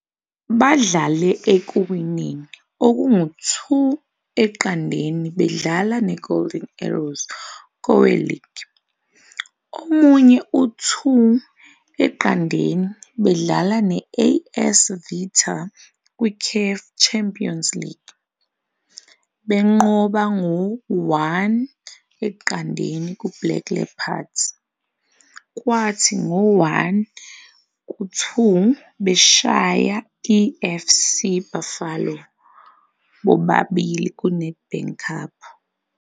Udlale ekuwineni okungu-2-0 bedlala neGolden Arrows koweligi, omunye u-2-0 bedlala ne-AS Vita kwiCAF Champions League, benqoba ngo 1-0 kuBlack Leopards kwathi ngo-1-2 beshaya i- FC UBuffalo, bobabili kuNedbank Cup.